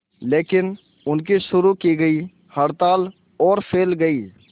लेकिन उनकी शुरू की गई हड़ताल और फैल गई